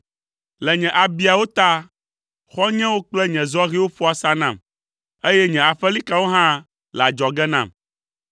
Le nye abiawo ta, xɔ̃nyewo kple nye zɔhɛwo ƒo asa nam, eye nye aƒelikawo hã le adzɔge nam.